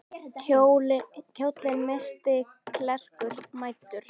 Kjólinn missti klerkur mæddur.